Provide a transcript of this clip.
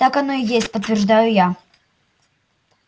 так оно и есть подтверждаю я